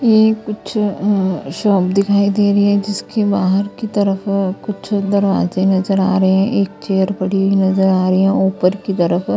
ये कुछ अ शॉप दिखाई दे रही है जिसके बाहर की तरफ कुछ दरवाजे नजर आ रहे हैं एक चेयर पड़ी हुई नजर आ रही है ऊपर की तरफ।